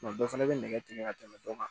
dɔ fɛnɛ bɛ nɛgɛ tigɛ ka tɛmɛ dɔ kan